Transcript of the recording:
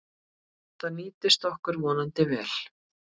Það nýtist okkur vonandi vel.